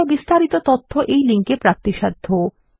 এই বিষয় বিস্তারিত তথ্য এই লিঙ্ক এ প্রাপ্তিসাধ্য